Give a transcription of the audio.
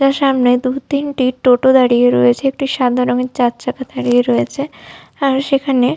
এর সামনে দু তিনটি টোটো দাঁড়িয়ে রয়েছে। একটি সাদা রঙের চারচাকা দাঁড়িয়ে রয়েছে আর সেখানে।